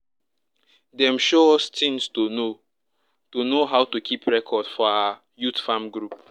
dem show us tings to know to know how to keep record for our youth farm group